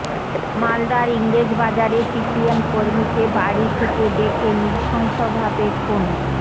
মালদার ইংরেজবাজারে সিপিএম কর্মীকে বাড়ি থেকে ডেকে নৃশংসভাবে খুন